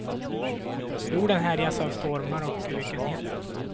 Jorden härjas av stormar och ökenhetta.